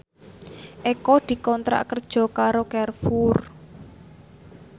Eko dikontrak kerja karo Carrefour